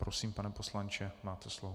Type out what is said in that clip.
Prosím, pane poslanče, máte slovo.